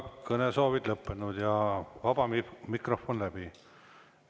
Kõnesoovid on lõppenud ja vaba mikrofon läbi.